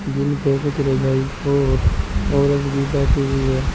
जिनपे कुछ रजाई और औरत भी बैठी हुई है।